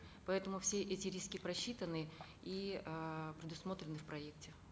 поэтому все эти риски просчитаны и эээ предусмотрены в проекте